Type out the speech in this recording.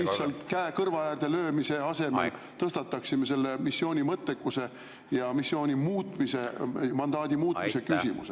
… lihtsalt käe kõrva äärde löömise asemel tõstataksime selle missiooni mõttekuse ja missiooni muutmise, mandaadi muutmise küsimuse.